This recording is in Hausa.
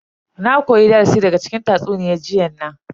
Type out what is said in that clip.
Na koya darasi daga cikin tatsuniyan jiyan nan.